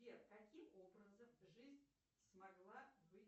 сбер каким образом жизнь смогла быть